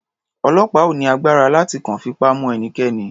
Ọlọ́pàá ò ní agbára láti kàn fipá mu ẹnikẹ́ni.